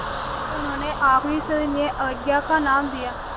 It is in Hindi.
इसे उन्होंने आख़िरी सविनय अवज्ञा का नाम दिया